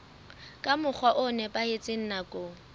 ka mokgwa o nepahetseng nakong